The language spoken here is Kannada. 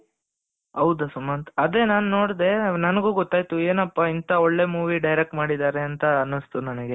ಹೌದು ಸುಮಂತ್ ಅದೇ ನಾನು ನೋಡಿದೆ ನನಗೂ ಗೊತ್ತಾಯ್ತು ಏನಪ್ಪಾ ಇಂಥ ಒಳ್ಳೆ movie direct ಮಾಡಿದ್ದಾರೆ ಅಂತ ಅನ್ನಿಸ್ತು ನನಗೆ,